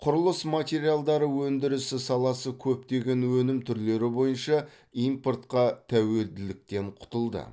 құрылыс материалдары өндірісі саласы көптеген өнім түрлері бойынша импортқа тәуелділіктен құтылды